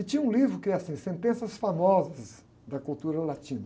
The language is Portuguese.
E tinha um livro que era assim, Sentenças Famosas da Cultura Latina.